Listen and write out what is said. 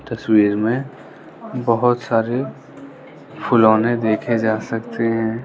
तस्वीर में बहोत सारे खिलौने देखे जा सकते हैं।